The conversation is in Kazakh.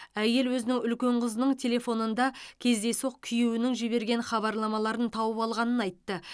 әйел өзінің үлкен қызының телефонында кездейсоқ күйеуінің жіберген хабарламаларын тауып алғанын айтты